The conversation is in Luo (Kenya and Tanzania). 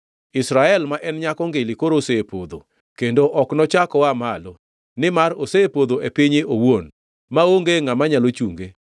“Israel ma en nyako ngili koro osepodho, kendo ok nochak oa malo, nimar osepodho e pinye owuon maonge ngʼama nyalo chunge.”